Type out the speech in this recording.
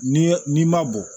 N'i ye n'i ma bɔ